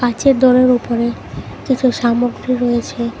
কাঁচের দোরের ওপরে কিছু সামগ্রী রয়েছে।